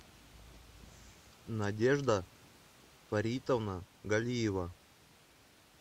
надежда фаритовна галиева